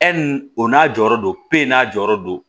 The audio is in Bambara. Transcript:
o n'a jɔyɔrɔ do n'a jɔyɔrɔ do